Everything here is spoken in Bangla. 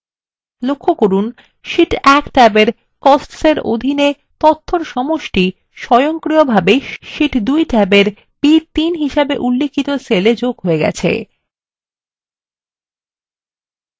লক্ষ্য করুন sheet 1 ট্যাবের costs এর অধীনে তথ্যর সমষ্টি স্বয়ংক্রিয়ভাবে sheet 2 ট্যাবের b3 হিসেবে উল্লিখিত cellএ যোগ হয়ে গেছে